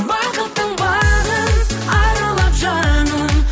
бақыттың бағын аралап жаным